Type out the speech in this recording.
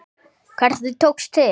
Hvernig tókst til?